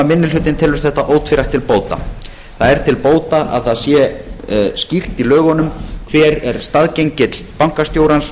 minni hlutinn telur þetta ótvírætt til bóta það er til bóta að það sé skýrt í lögunum hver er staðgengill bankastjórans